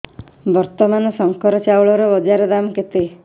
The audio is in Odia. ବର୍ତ୍ତମାନ ଶଙ୍କର ଚାଉଳର ବଜାର ଦାମ୍ କେତେ